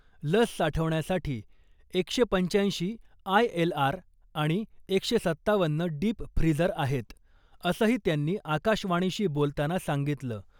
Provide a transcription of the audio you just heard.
लस साठवण्यासाठी एकशे पंच्याऐंशी आयएलआर आणि एकशे सत्तावन्न डीपफ्रीझर आहेत , असंही त्यांनी आकाशवाणीशी बोलताना सांगितलं .